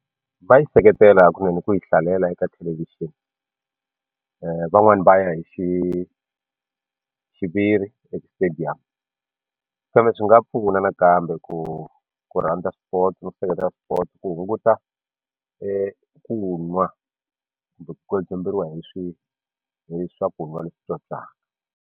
Va yi seketela kun'we ni ku yi hlalela eka thelevhixini van'wani va ya hi xiviri e-stadium kambe swi nga pfuna na kambe ku ku rhandza spots ni ku seketela sport ku hunguta ku n'wa kumbe ku hi swakun'wa leswi ntswontswaka.